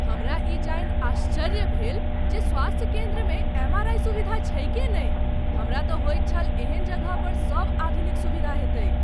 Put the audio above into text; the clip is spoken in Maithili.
हमरा ई जानि आश्चर्य भेल जे स्वास्थ्य केन्द्रमे एम.आर.आइ. सुविधा छैके नहि। हमरा तँ होइत छल एहन जगह पर सब आधुनिक सुविधा हेतैक।